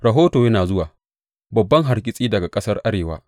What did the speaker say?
Rahoto yana zuwa babban hargitsi daga ƙasar arewa!